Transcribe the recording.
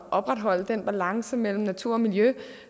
opretholde den balance mellem natur og miljø